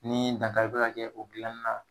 Ni dankari bɛ ka kɛ o dilanni na.